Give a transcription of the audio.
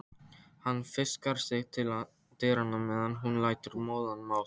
Hann fikrar sig til dyranna meðan hún lætur móðan mása.